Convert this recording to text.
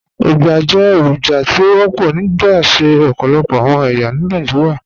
Ugbá jẹ́ èròjà tí ó wọpọ̀ nípasẹ̀ ọ̀pọ̀lọpọ̀ awọn ẹyà ní Nàìjíríà.